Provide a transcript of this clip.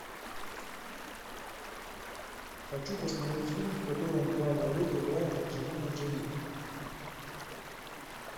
хочу посмотреть фильм в котором в главной роли играет анджелина джоли